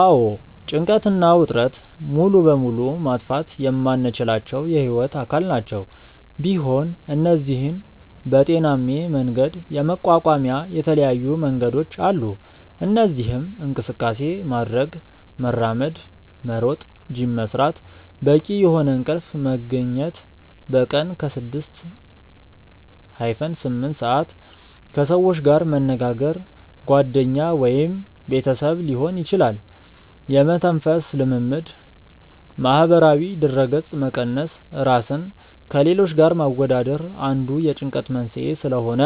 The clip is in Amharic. አዎ ጭንቀት እና ውጥረት ሙሉ በሙሉ ማጥፋት የማንችላቸው የህይወት አካል ናቸው፤ ቢሆን እነዚህን በጤናሜ መንገድ የመቋቋሚያ የተለያዩ መንገዶች አሉ። እነዚህም እንቅስቃሴ ማድረግ( መራመድ፣ መሮጥ፣ ጂም መስራት)፣ በቂ የሆነ እንቅልፍ መግኘት( በቀን ከ6-8ሰአት)፣ ከሰዎች ጋር መነጋገር( ጓደኛ ወይም ቤተሰብ ሊሆን ይችላል)፣ የመተንፈስ ልምምድ፣ ማህበራዊ ድረገጽ መቀነስ( ራስን ከሌሎች ጋር ማወዳደር አንዱ የጭንቀት መንስኤ ስለሆነ)